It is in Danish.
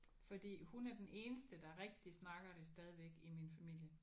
Fordi hun er den eneste der rigtig snakker det stadigvæk i min familie